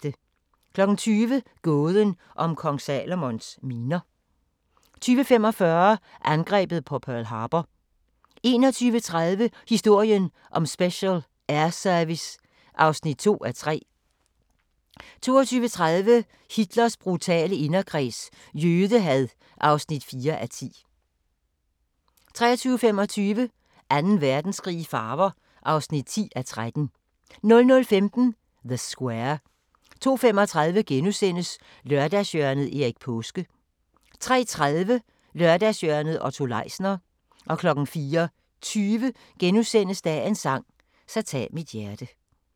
20:00: Gåden om Kong Salomons miner 20:45: Angrebet på Pearl Harbor 21:30: Historien om Special Air Service (2:3) 22:30: Hitlers brutale inderkreds – jødehad (4:10) 23:25: Anden Verdenskrig i farver (10:13) 00:15: The Square 02:35: Lørdagshjørnet – Erik Paaske * 03:30: Lørdagshjørnet - Otto Leisner * 04:20: Dagens sang: Så tag mit hjerte *